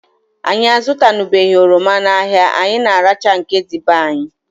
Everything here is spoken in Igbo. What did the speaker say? Anyị azutanubeghi oroma n'ahia, anyị na arachaa nke dị be anyị